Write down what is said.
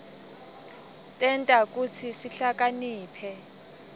tenta kutsi sihlakaniphe